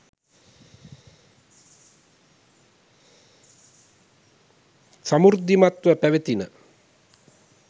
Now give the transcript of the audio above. සමෘද්ධිමත්ව පැවැතිණ.